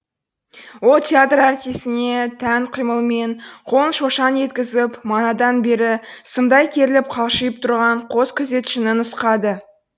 ол театр артисіне тән қимылмен қолын шошаң еткізіп манадан бері сымдай керіліп қалшиып тұрған қос күзетшіні нұсқады